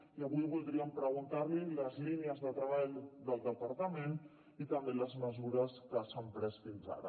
i avui voldríem preguntar li les línies de treball del departament i també les mesures que s’han pres fins ara